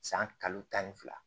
San kalo tan ni fila